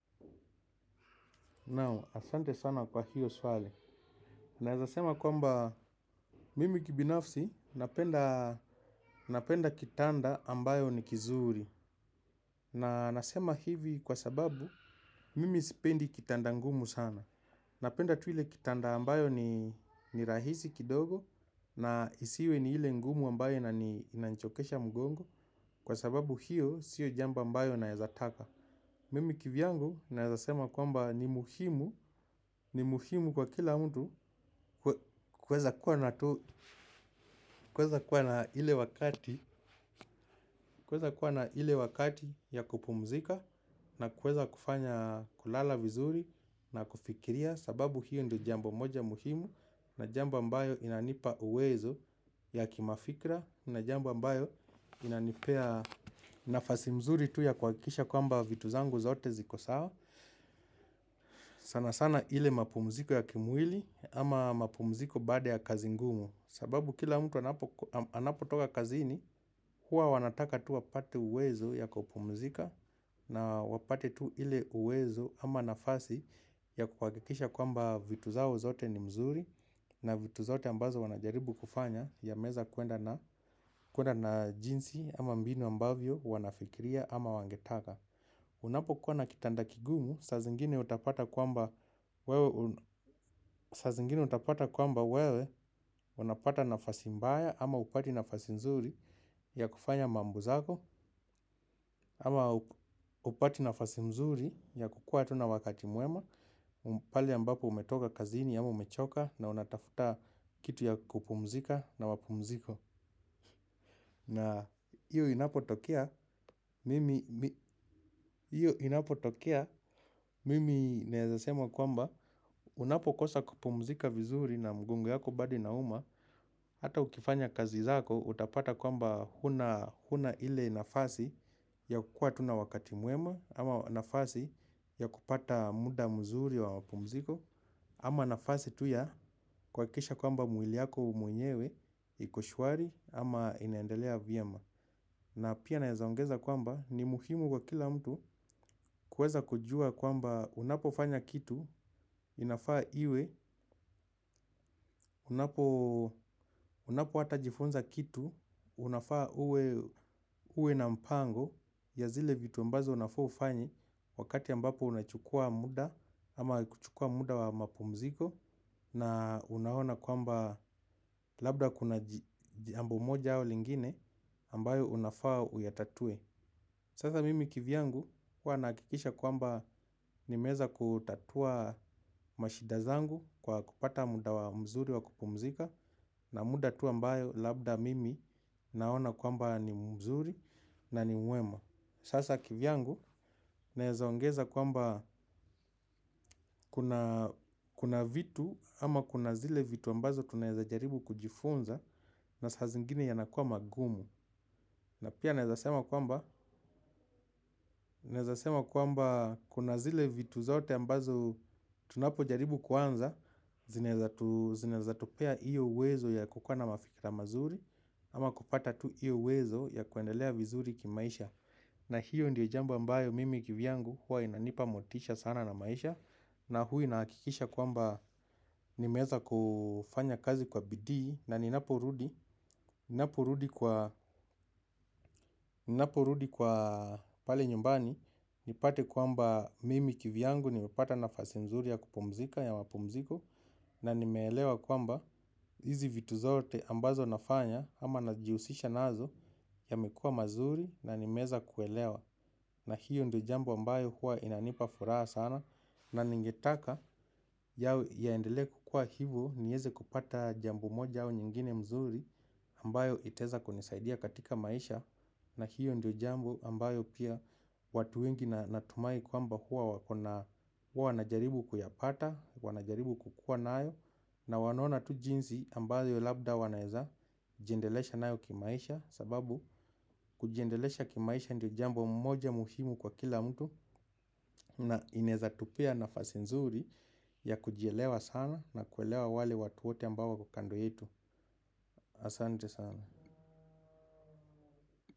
Naam, asante sana kwa hiyo swali. Naeza sema kwamba mimi kibinafsi napenda kitanda ambayo ni kizuri. Na nasema hivi kwa sababu mimi sipendi kitanda ngumu sana. Napenda tu ile kitanda ambayo ni rahisi kidogo na isiwe ni ile ngumu ambayo inanichokesha mgongo. Kwa sababu hiyo sio jambo ambayo naeza taka. Mimi kivyangu naezasema kwamba ni muhimu kwa kila mtu kuweza kuwa na ile wakati ile wakati ya kupumzika na kuweza kufanya kulala vizuri na kufikiria. Sababu hiyo ndiyo jambo moja muhimu na jambo ambayo inanipa uwezo ya kimafikra na jambo ambayo inanipea nafasi mzuri tu ya kuhakikisha kwamba vitu zangu zote ziko sawa. Sana sana ile mapumziko ya kimwili ama mapumziko baada ya kazi ngumu sababu kila mtu anapo toka kazini huwa wanataka tu wapate uwezo ya kupumzika. Na wapate tu ile uwezo ama nafasi ya kuhakikisha kwamba vitu zao zote ni mzuri. Na vitu zote ambazo wanajaribu kufanya yameweza kwenda na kuenda na jinsi ama mbini ambavyo wanafikiria ama wangetaka. Unapo kuwa na kitanda kigumu, saa zingine utapata kwamba wewe zingine utapata kwamba wewe unapata nafasi mbaya ama hupati nafasi nzuri ya kufanya mambo zako ama hupati nafasi mzuri ya kukua hata na wakati mwema pale ambapo umetoka kazini ama umechoka na unatafuta kitu ya kupumzika na wapumziko hiyo inapo tokea, mimi naeza sema kwamba unapo kosa kupumzika vizuri na mgongo yako bado ina uma. Hata ukifanya kazi zako utapata kwamba huna huna ile nafasi ya kukua tu na wakati mwema ama nafasi ya kupata muda mzuri wa mapumziko ama nafasi tu ya kuhakikisha kwamba mwili yako mwenyewe iko shwari ama inaendelea vyema. Na pia naeza ongeza kwamba ni muhimu kwa kila mtu kuweza kujua kwamba unapo fanya kitu inafaa iwe unapo hata jifunza kitu unafaa uwe na mpango ya zile vitu ambazo unafaa ufanye wakati ambapo unachukua muda ama kuchukua muda wa mapumziko na unaona kwamba labda kuna jambo moja au lingine ambayo unafaa uyatatue. Sasa mimi kivyangu huwa nahakikisha kwamba nimeweza kutatua mashida zangu kwa kupata muda wa mzuri wa kupumzika na muda tu ambayo labda mimi naona kwamba ni mzuri na ni mwema. Sasa kivyangu naeza ongeza kwamba kuna vitu ama kuna zile vitu ambazo tunaweza jaribu kujifunza na saa zingine yanakuwa magumu. Na pia naeza sema kwamba kuna zile vitu zote ambazo tunapo jaribu kuanza zinaeza tupea hiyo uwezo ya kukuwa na mafikra mazuri ama kupata tu hiyo uwezo ya kuendelea vizuri kimaisha na hiyo ndio jambo ambayo mimi kivyangu huwa inanipa motisha sana na maisha. Na hu inahakikisha kwamba nimeweza kufanya kazi kwa bidii na ninaporudi kwa pale nyumbani nipate kwamba mimi kivyangu nimepata nafasi mzuri ya kupumzika ya wapumziko. Na nimeelewa kwamba hizi vitu zote ambazo nafanya ama najihusisha nazo yamekuwa mazuri na nimeweza kuelewa. Na hiyo ndio jambo ambayo huwa inanipa furaha sana. Na ningetaka yao iendelee kukua hivo nieze kupata jambo moja au nyingine mzuri ambayo iteza kunisaidia katika maisha. Na hiyo ndio jambo ambayo pia watu wengi natumai kwamba hua wanajaribu kuyapata wanajaribu kukua nayo. Na wanona tu jinsi ambayo labda wanaeza jiendelesha nayo kimaisha sababu kujiendelesha kimaisha ndio jambo moja muhimu kwa kila mtu. Na inaeza tupea nafasi nzuri ya kujielewa sana na kuelewa wale watu wote ambao wako kando yetu. Asante sana.